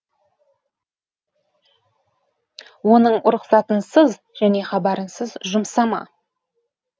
оның рұқсатынсыз және хабарынсыз жұмсама